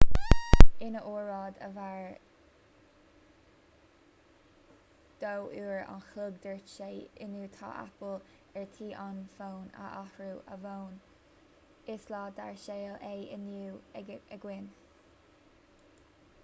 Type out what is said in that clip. ina óráid a mhair 2 uair an chloig dúirt sé inniu tá apple ar tí an fón a athrú ó bhonn is lá dár saol é inniu againn